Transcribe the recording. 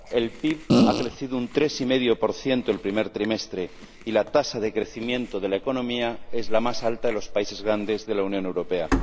El PIB ha crecido un 3,5 el primer trimestre y la tasa de crecimiento de la economía es la más alta de los países grandes de la Unión Europea.